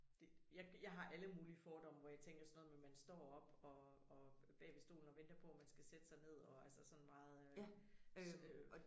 Det ja jeg har alle mulige fordomme hvor jeg tænker sådan noget med man står op og og bag ved stolen og venter på man skal sætte sig ned og altså sådan meget øh